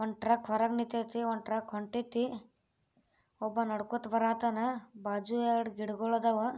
ವಂಟ್ರಕ್ ಹೊರಗ್ ನಿಂತೈತೆ ಒಂದ್ ಟ್ರಕ್ ಹೊಂಟೈತಿ ಒಬ್ಬ ನಡ್ಕೋತ್ ಬರಹತ್ತನ ಬಾಜು ಎರಡ್ ಗಿಡಗಳ್ ಅದಾವು.